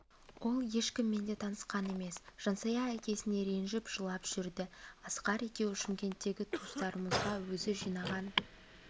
ол ешкіммен де танысқан емес жансая әкесіне ренжіп жылап жүрді асқар екеуі шымкенттегі туыстарымызға өзі жинаған